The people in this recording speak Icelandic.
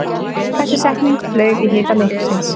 Þessi setning flaug í hita leiksins